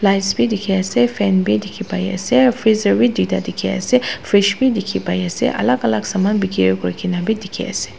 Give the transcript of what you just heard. lights bhi dekhey ase fan bhi dekhey pai ase freezer bhi duida dekhey ase fridge bhi dekhe pai ase alak alak saman bekeri kurikena bhi dekhey ase.